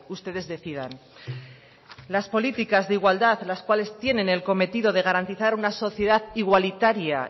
ustedes decidan las políticas de igualdad las cuales tienen el cometido de garantizar una sociedad igualitaria